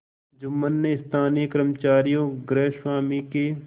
जुम्मन ने स्थानीय कर्मचारीगृहस्वामीके